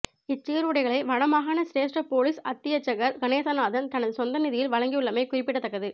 இச் சீருடைகளை வடமாகாண சிரேஸ்ட பொலிஸ் அத்தியட்சகர் கணேசநாதன் தனது சொந்த நிதியில் வழங்கியுள்ளமை குறிப்பிடத்தக்கது